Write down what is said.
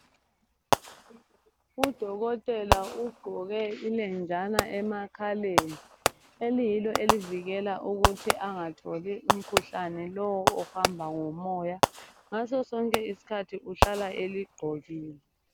Udokotela ugqoke ilenjana emakhaleni eliyilo elivikela ukuthi angatholi umkhuhlane lowo ohamba ngomoya. Ngasosonke isikhathi uhlala eligqokile.